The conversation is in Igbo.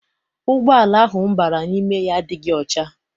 Ụgbọala ahụ m bara n'ime ya adịghị ọcha.